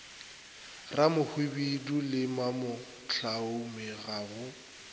ramohwibidu le mamohlaume ga go